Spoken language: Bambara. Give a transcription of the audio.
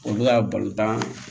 Olu ka balontan